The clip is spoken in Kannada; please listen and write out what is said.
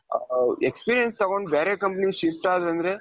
experience ತಗೊಂಡ್ ಬೇರೆ companyಗೆ shift ಆದ್ರೆ ಅಂದ್ರೆ,